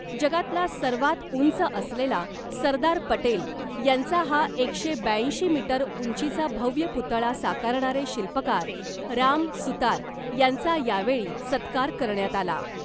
जगातला सर्वात उंच असलेला , सरदार पटेल यांचा हा एकशे ब्याऐंशी मीटर उंचीचा भव्य पुतळा साकारणारे शिल्पकार राम सुतार यांचा यावेळी सत्कार करण्यात आला .